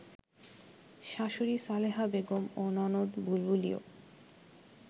শাশুড়ি সালেহা বেগম ও ননদ বুলবুলিও